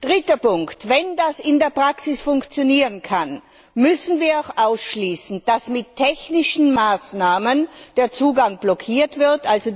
Dritter Punkt Wenn das in der Praxis funktionieren kann, müssen wir auch ausschließen, dass mit technischen Maßnahmen der Zugang blockiert wird.